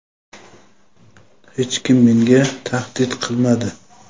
hech kim menga tahdid qilmadi.